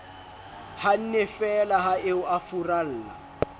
hannefeela ha eo a furalla